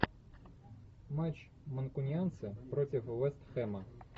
матч манкунианцы против вест хэма